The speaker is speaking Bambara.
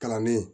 Kalanden